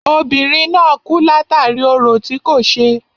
Obìnrin náà kú látàri orò tí kò ṣe.